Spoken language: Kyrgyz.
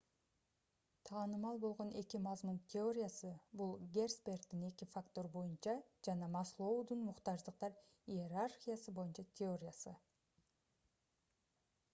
таанымал болгон эки мазмун теориясы бул герцбергдин эки фактор боюнча жана маслоудун муктаждыктар иерархиясы боюнча теориясы